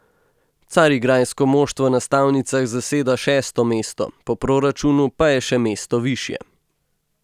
Carigrajsko moštvo na stavnicah zaseda šesto mesto, po proračunu pa je še mesto višje.